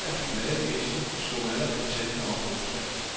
Mange af de glade gæster slog allerede teltene op onsdag.